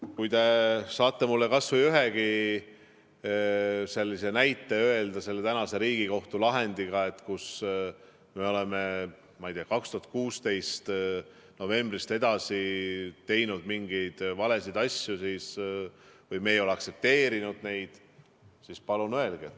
Kui te saate mulle kas või ühegi sellise näite öelda selle tänase Riigikohtu lahendiga, kus me oleme, ma ei tea, 2016. aasta novembrist edasi teinud mingeid valesid asju või me ei ole aktsepteerinud neid, siis palun öelge.